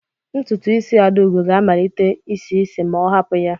Ntutu isi Adaugo ga-amalite isi isi ma ọ hapụ ya.